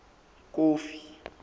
kofi